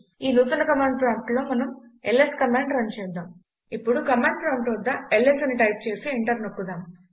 ఈ నూతన command prompt లో మనం ల్స్ కమాండ్ రన్ చేద్దాం ఇప్పుడు కమాండ్ ప్రాంప్ట్ వద్ద ల్స్ అని టైప్ చేసి ఎంటర్ నొక్కుదాం